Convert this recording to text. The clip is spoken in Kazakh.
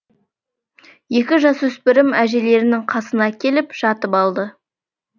екі жасөспірім әжелерінің қасына келіп жатып алды